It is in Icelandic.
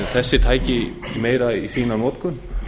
þessi tæki meira í notkun